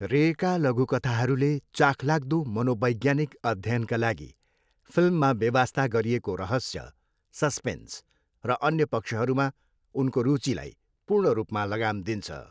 रेका लघुकथाहरूले चाखलाग्दो मनोवैज्ञानिक अध्ययनका लागि फिल्ममा बेवास्ता गरिएको रहस्य, सस्पेन्स र अन्य पक्षहरूमा उनको रुचिलाई पूर्ण रूपमा लगाम दिन्छ।